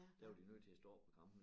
Der var de nødt til at stoppe æ kampen